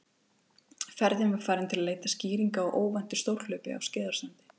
Ferðin var farin til að leita skýringa á óvæntu stórhlaupi á Skeiðarársandi.